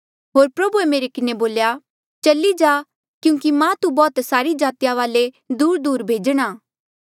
होर प्रभुए मेरे किन्हें बोल्या चली जा क्यूंकि मां तू बौह्त सारी जातिया वाले दूरदूर भेजणा